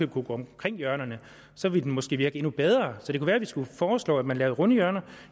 kunne gå omkring hjørnerne og så ville den måske virke endnu bedre så det kunne være at vi skulle foreslå at man lavede runde hjørner